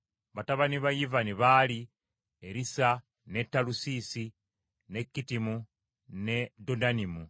Batabani ba Yivani baali: Erisa, ne Talusiisi, ne Kittimu ne Dodanimu.